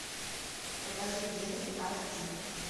покажи гений аш ди